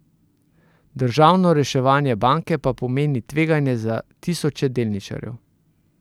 Državno reševanje banke pa pomeni tveganje za tisoče delničarjev.